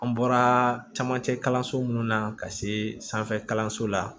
An bɔra camancɛ kalanso munnu na ka se sanfɛ kalanso la